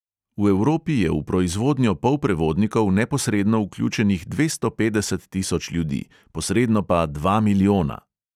V evropi je v proizvodnjo polprevodnikov neposredno vključenih dvesto petdeset tisoč ljudi, posredno pa dva milijona.